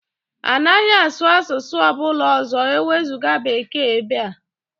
Anaghị asụ asụsụ ọ bụla ọzọ ewezuga Bekee ebe a!